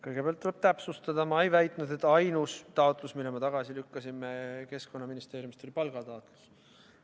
Kõigepealt tuleb täpsustada, et ma ei väitnud, et ainus taotlus, mille me Keskkonnaministeeriumi esitatutest tagasi lükkasime, oli palgataotlus.